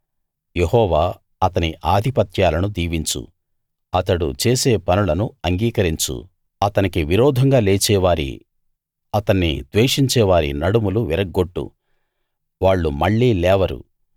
యెహోవా అతని ఆధిపత్యాలను దీవించు అతడు చేసే పనులను అంగీకరించు అతనికి విరోధంగా లేచే వారి అతన్ని ద్వేషించేవారి నడుములు విరగ్గొట్టు వాళ్ళు మళ్ళీ లేవరు